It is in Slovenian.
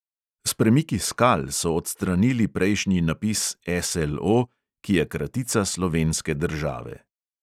S premiki skal so odstranili prejšnji napis SLO, ki je kratica slovenske države.